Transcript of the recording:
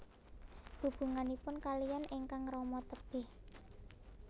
Hubunganipun kaliyan ingkang rama tebih